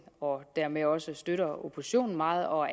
og dermed også støtter oppositionen meget og